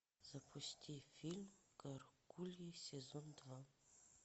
запусти фильм гаргульи сезон два